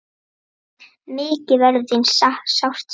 Mikið verður þín sárt saknað.